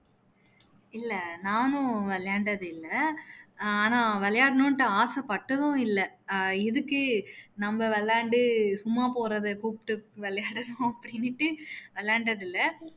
இல்ல நானும் விளையாண்டதில்ல ஆனா விளையாடணும்னு ஆசைப்பட்டதும் இல்ல ஆஹ் எதுக்கு நம்ம விளையாண்டு சும்மா போறதை கூப்பிட்டு விளையாடணும் அப்படின்னுட்டு விளையாண்டதில்ல